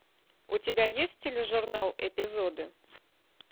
у тебя есть тележурнал эпизоды